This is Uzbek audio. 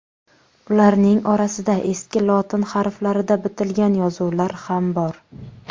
Ularning orasida eski lotin harflarida bitilgan yozuvlar ham bor.